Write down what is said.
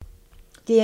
DR1